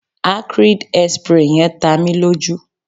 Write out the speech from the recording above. acrid hairspray yen ta mi loju